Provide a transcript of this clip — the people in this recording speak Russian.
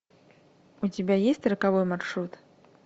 у тебя есть роковой маршрут